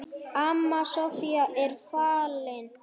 Amma Soffía er fallin.